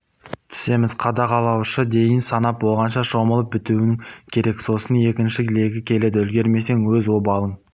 түсеміз қадағалаушы дейін санап болғанша шомылып бітуің керек сосын екінші легі келеді үлгермесең өз обалың